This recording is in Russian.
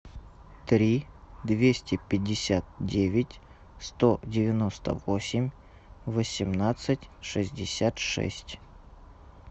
три двести пятьдесят девять сто девяносто восемь восемнадцать шестьдесят шесть